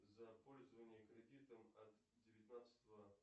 за пользование кредитом от девятнадцатого